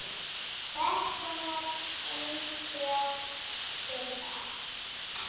Hvers konar eintök eru það?